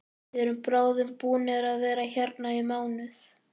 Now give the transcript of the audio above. Við erum bráðum búnir að vera hérna í mánuð.